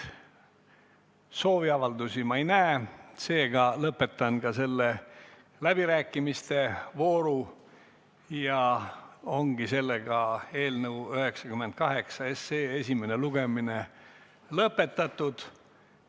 Sooviavaldusi ma ei näe, seega lõpetan läbirääkimiste vooru ja eelnõu 98 esimene lugemine ongi lõpetatud.